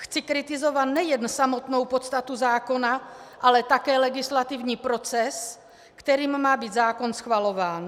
Chci kritizovat nejen samotnou podstatu zákona, ale také legislativní proces, kterým má být zákon schvalován.